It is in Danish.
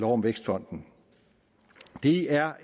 om vækstfonden det er